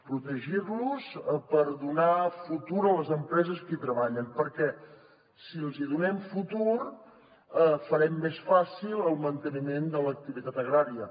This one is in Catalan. protegir los per donar futur a les empreses que hi treballen perquè si els donem futur farem més fàcil el manteniment de l’activitat agrària